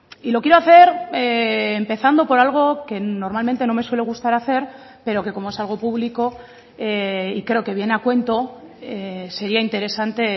y lo quiero hacer empezando por algo que normalmente no me suele gustar hacer pero que como es algo público y creo que viene a cuento sería interesante